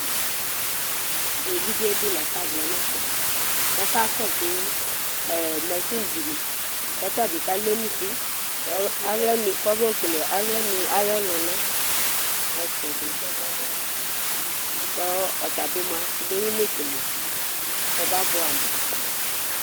Éʋidjé lafa vlɛnɛ fɛ kɔ ɔka kɔsu machini dini Kɔ ɔtabi ka lé émusu kɔba yɔklé aɣla nu ayɔ luna Kɔ ɔtabi mia kɔbéyinekélé kɔba buamu